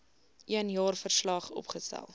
een jaarverslag opgestel